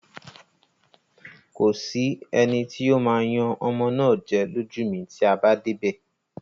Kò sí eni tí ó ó máa yan ọmọ náà jẹ lójú mi tí a bá dé ibè.